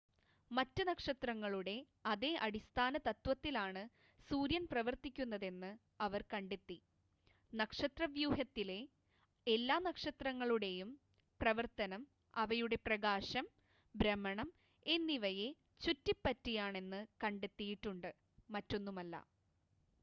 മറ്റ് നക്ഷത്രങ്ങളുടെ അതേ അടിസ്ഥാന തത്ത്വത്തിലാണ് സൂര്യൻ പ്രവർത്തിക്കുന്നതെന്ന് അവർ കണ്ടെത്തി നക്ഷത്രവ്യൂഹത്തിലെ എല്ലാ നക്ഷത്രങ്ങളുടെയും പ്രവർത്തനം അവയുടെ പ്രകാശം ഭ്രമണം എന്നിവയെ ചുറ്റിപ്പറ്റിയാണെന്ന് കണ്ടെത്തിയിട്ടുണ്ട് മറ്റൊന്നുമല്ല